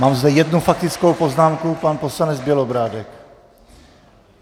Mám zde jednu faktickou poznámku, pan poslanec Bělobrádek.